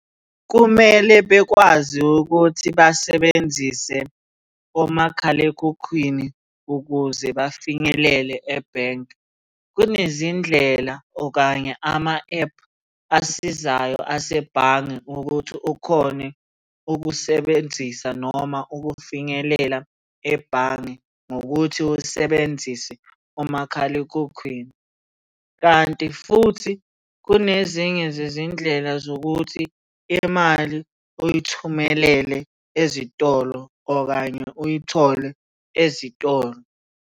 Kumele bekwazi ukuthi basebenzise omakhalekhukhwini ukuze bafinyelele ebhenki. Kunezindlela okanye ama-ephu asizayo asebhange ukuthi ukhone ukusebenzisa noma ukufinyelela ebhange ngokuthi usebenzise umakhalekhukhwini, kanti futhi kunezinye zezindlela zokuthi imali uyithumelele ezitolo okanye uyithole ezitolo.